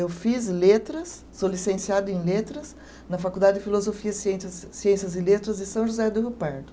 Eu fiz letras, sou licenciada em letras na Faculdade de Filosofia, Ciências, ciências e Letras de São José do Rio Pardo.